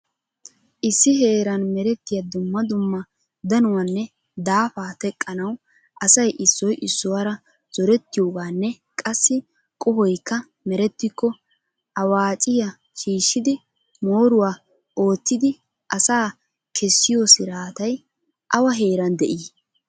Issi heeran meretiyaa dumma dumma danuwanne daafa teqqanaw asay issoy issuwaara zoretiyooganne qassi qohoykka merettiko aawucciya shiishshidi mooruwa oottiddi asaa kessiyo siraatay awa heeran de"ii?